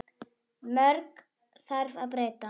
Mörgu þarf að breyta.